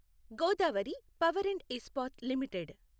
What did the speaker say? Godavari power and Ispat limited